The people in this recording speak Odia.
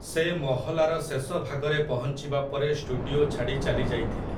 ସେ ମହଲାର ଶେଷ ଭାଗରେ ପହଞ୍ଚିବା ପରେ ଷ୍ଟୁଡିଓ ଛାଡ଼ି ଚାଲି ଯାଇଥିଲେ ।